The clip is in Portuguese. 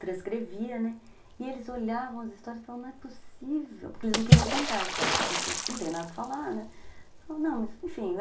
transcrevia, né, e eles olhavam as histórias e falavam, não é possível, porque eles não queriam contar a história a princípio, não tem nada para falar, né, não, mas, enfim